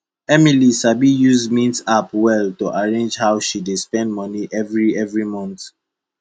emily sabi use mint app well to arrange how she dey spend moni every every month